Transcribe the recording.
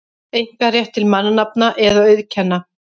einkarétt til mannanafna eða auðkenna.